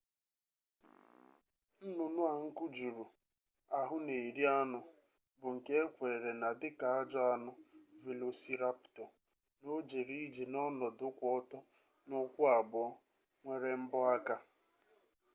nnụnụ a nku juru ahụ na-eri anụ bụ nke ekweere na dika ajọ anụ velosiraptọ na o jere ije n'ọnọdụ kwụ ọtọ n'ụkwụ abụọ nwere mbọ aka